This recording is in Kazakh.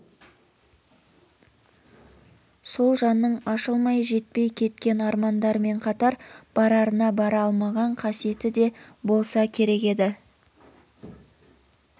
сол жанның ашылмай жетпей кеткен армандарымен қатар барарына бара алмаған қасиеті де болса керек еді